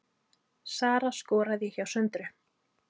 Sara skoraði hjá Söndru